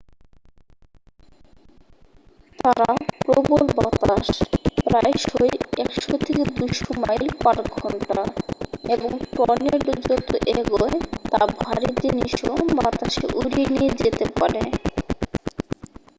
তারা প্রবল বাতাস প্রায়শই 100-200 মাইল / ঘণ্টা এবং টর্নেডো যত এগোয় তা ভারী জিনিসও বাতাসে উড়িয়ে নিয়ে যেতে পারে।